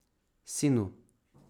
Sinu.